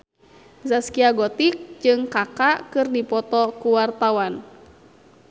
Zaskia Gotik jeung Kaka keur dipoto ku wartawan